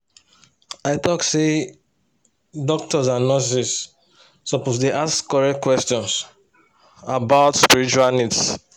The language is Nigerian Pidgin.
i talk say doctors and nurses suppose dey ask correct questions about spiritual needs.